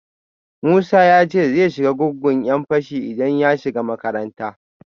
Musa ya ce zai shiga gungun ‘yan fashi idan ya shiga makaranta